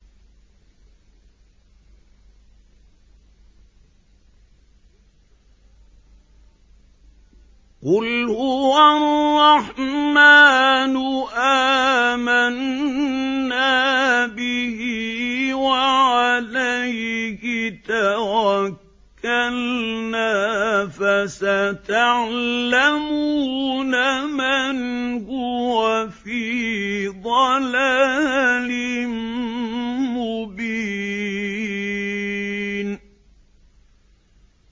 قُلْ هُوَ الرَّحْمَٰنُ آمَنَّا بِهِ وَعَلَيْهِ تَوَكَّلْنَا ۖ فَسَتَعْلَمُونَ مَنْ هُوَ فِي ضَلَالٍ مُّبِينٍ